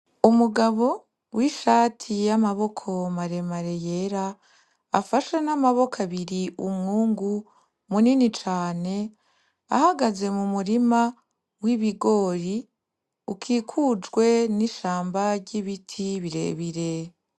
Umugabo w'ishati y'amaboko maremare yera afashe n'amaboko abiri umwungu munini cane ahagaze mu murima w'ibigori ukikujwe n'ishamba ry'ibiti birebire.